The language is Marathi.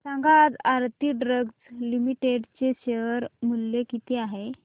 सांगा आज आरती ड्रग्ज लिमिटेड चे शेअर मूल्य किती आहे